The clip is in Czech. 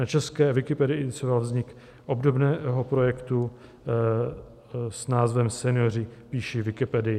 Na české Wikipedii inicioval vznik obdobného projektu s názvem Senioři píší wikipedii.